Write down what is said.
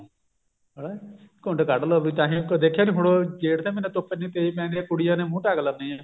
ਹਨਾ ਘੁੰਡ ਕੱਢ ਲਓ ਵੀ ਤਾਂਹੀ ਉਪਰੋਂ ਦੇਖਿਆ ਵੀ ਜੇਠ ਦਾ ਮਹੀਨਾ ਧੁੱਪ ਇੰਨੀ ਤੇਜ਼ ਪੈਂਦੀ ਏ ਕੁੜੀਆਂ ਨੇ ਮੂੰਹ ਢੱਕ ਲੈਂਦੀਆਂ